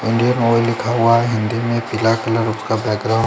Indian Oil लिखा हुआ है हिंदी में बिलैक कलर उसका बैकग्रॉउंड ।